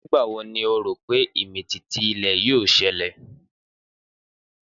Nígbà wo ni o rò pé ìmìtìtì-ilẹ̀ yóò ṣẹlẹ̀?